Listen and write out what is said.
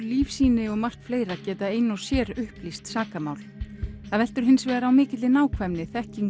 lífsýni og margt fleira geta ein og sér upplýst sakamál það veltur hins vegar á mikilli nákvæmni þekkingu